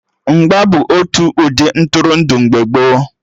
Mgba bụ otu ụdị Ntụrụndụ mgbe gboo